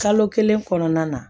Kalo kelen kɔnɔna na